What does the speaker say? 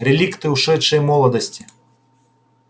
реликты ушедшей молодости